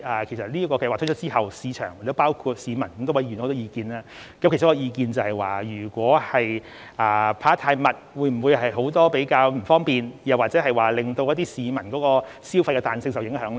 其實，該計劃公布後，市場——亦包括市民——提出了許多意見，當中有意見指，如果派發次數太頻密，會否造成許多不便，又或令市民消費的彈性受影響呢？